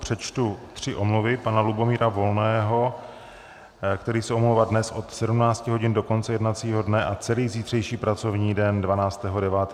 Přečtu tři omluvy: pana Lubomíra Volného, který se omlouvá dnes od 17 hodin do konce jednacího dne a celý zítřejší pracovní den, 12. 9., 2019 z pracovních důvodů.